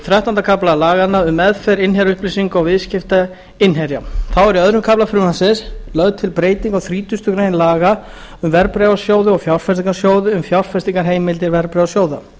þrettánda kafla laganna um meðferð innherjaupplýsinga og viðskipti innherja þá er í öðrum kafla frumvarpsins lögð til breyting á þrítugustu greinar laga um verðbréfasjóði og fjárfestingarsjóði um fjárfestingarheimildir verðbréfasjóða